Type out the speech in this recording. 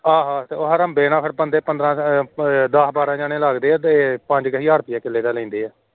ਆਹ ਹੜੰਬੇ ਨਾਲ ਬੰਦੇ ਪੰਦਰਾਂ ਦੱਸ ਬਾਰਾਂ ਲੱਗਦੇ ਐ ਤੇ ਕਿੱਲੇ ਦਾ ਪੰਜ ਹਜਾਰ ਲੈਂਦੇ ਐ